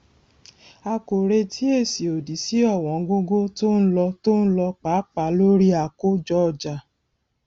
a kò retí èsì òdì sí ọwọngógó tó ń lo tó ń lo pàápàá lórí àkójọọjà